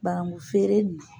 Banankun feere in na